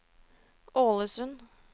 Ålesund